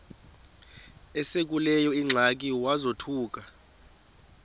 esekuleyo ingxaki wazothuka